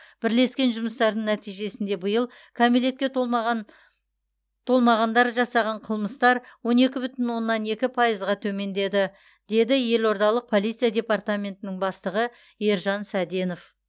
бірлескен жұмыстардың нәтижесінде биыл кәмелетке толмаған толмағандар жасаған қылмыстар он екі бүтін оннан екі пайызға төмендеді деді елордалық полиция департаментінің бастығы ержан сәденов